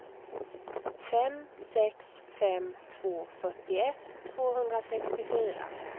fem sex fem två fyrtioett tvåhundrasextiofyra